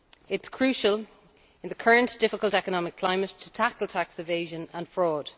It is crucial, in the current difficult economic climate, to tackle tax evasion and fraud.